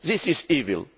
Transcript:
This is evil.